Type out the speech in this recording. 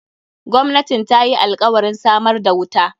Gwamnatin ta yi alkawarin samar da wuta.